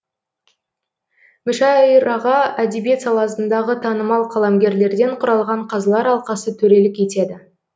мүшәйраға әдебиет саласындағы танымал қаламгерлерден құралған қазылар алқасы төрелік етеді